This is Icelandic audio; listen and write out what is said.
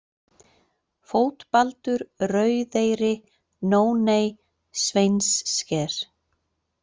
Fótbaldur, Rauðeyri, Nóney, Sveinssker